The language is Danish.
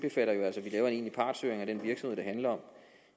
egentlig partshøring af den virksomhed det handler om